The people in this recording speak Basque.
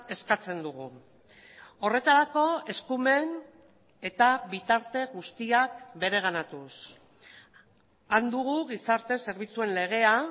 eskatzen dugu horretarako eskumen eta bitarte guztiak bereganatuz han dugu gizarte zerbitzuen legea